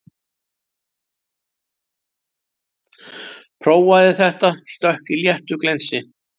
Prófaði þetta stökk í léttu glensi